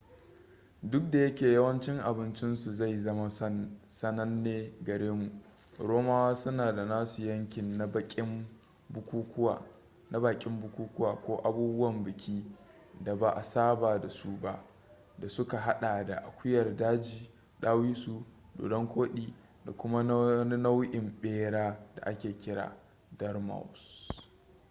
duk da yake yawancin abincinsu zai zama sananne gare mu romawa suna da nasu yankin na baƙin bukukuwa ko abubuwan biki da ba a saba da su ba da suka haɗa da akuyar daji dawisu dodon-koɗi da kuma wani nau'in ɓera da ake kira dormousee